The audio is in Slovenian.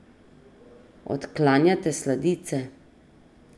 Odklanjate sladice.